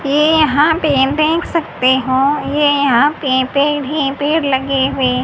ये यहां पे देख सकते हो ये यहां पे भी पेड़ लगे हुए--